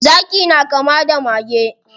Zaki na kama da mage.